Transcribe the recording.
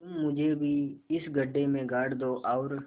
तुम मुझे भी इस गड्ढे में गाड़ दो और